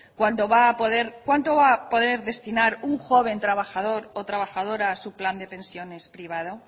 cuánto va a poder destinar un joven trabajador o trabajadora a su plan de pensiones privado